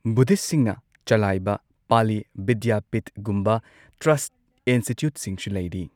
ꯕꯨꯗꯙꯤꯁꯠꯁꯤꯡꯅ ꯆꯂꯥꯏꯕ ꯄꯥꯂꯤ ꯕꯤꯗ꯭ꯌꯥꯄꯤꯊꯒꯨꯝꯕ ꯇ꯭ꯔꯁꯠ ꯏꯟꯁꯇꯤꯇ꯭ꯌꯨꯠꯁꯤꯡꯁꯨ ꯂꯩꯔꯤ꯫